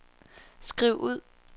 skriv ud